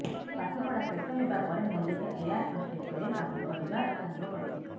ପାଠ ପଢ଼ା ଶେଷ ହେବା ପରେ ମଲ୍ଲିକା ଏୟାର ହଷ୍ଟେସେରେ କାମ କରିବା ଆରମ୍ଭ କରିଥିଲେ